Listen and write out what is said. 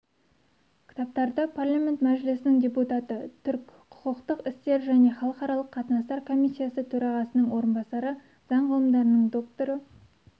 кітаптарды парламенті мәжілісінің депутаты түрк құқықтық істер және халықаралық қатынастар комиссиясы төрағасының орынбасары заң ғылымдарының докторы